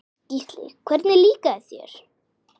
Gísli: Hvernig líkaði þér?